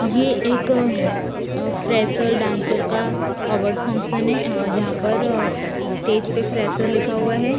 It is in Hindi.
ये एक फ्रेशर डांसर का अवार्ड फंक्शन है। जहां पर स्टेज पे फ्रेशर लिखा हुआ है।